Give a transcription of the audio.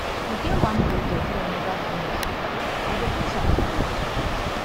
e get wan project wey i never finish i go finish am today